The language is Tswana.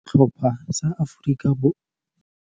Setlhopha sa Aforika Bo